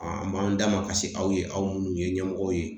A b'an damakasi aw ye aw minnu ye ɲɛmɔgɔw ye